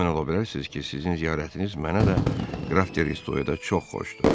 Əmin ola bilərsiz ki, sizin ziyarətiniz mənə də qraf Redoya da çox xoşdur.